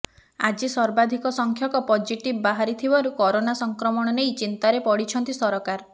ଆଜି ସର୍ବାଧିକ ସଂଖ୍ୟକ ପଜିଟିଭ ବାହାରିଥିବାରୁ କରୋନା ସଂକ୍ରମଣ ନେଇ ଚିନ୍ତାରେ ପଡ଼ିଛନ୍ତି ସରକାର